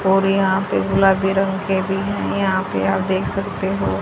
और यहा पे गुलाबी रंग के भी है यहां पे आप देख सकते हो--